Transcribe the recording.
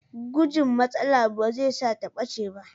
Gujin matsala ba zai sa ta ɓace ba.